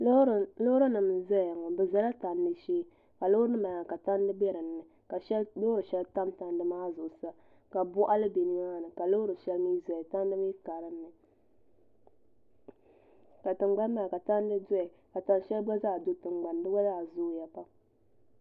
Loori nim n ʒɛya ŋo di ʒɛla tandi shee ka loori nim maa ka tandi bɛ dinni ka loori shɛli tam tandi maa zuɣu sa ka boɣali bɛ nimaani ka loori shɛli mii ʒɛya tandi mii ka dinni ka tingbani maa ka tandi doya ka tan shɛli gba zaa do tingbani di gba zaa zooya pam